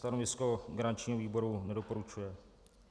Stanovisko garančního výboru: nedoporučuje.